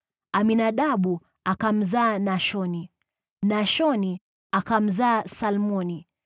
Aminadabu akamzaa Nashoni, Nashoni akamzaa Salmoni,